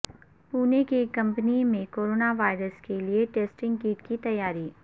پونے کی کمپنی میں corona virus کیلئے ٹسٹنگ کٹ کی تیاری